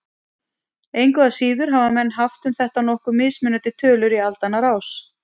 Engu að síður hafa menn haft um þetta nokkuð mismunandi tölur í aldanna rás.